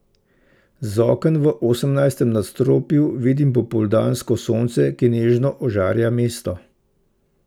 Z oken v osemnajstem nadstropju vidim popoldansko sonce, ki nežno ožarja mesto.